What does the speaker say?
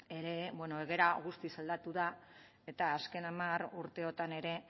ere egoera guztiz aldatu da eta azken hamar urteotan ere